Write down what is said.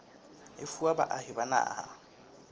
e fuwa baahi ba naha